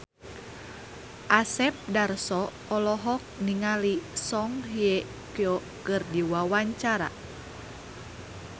Asep Darso olohok ningali Song Hye Kyo keur diwawancara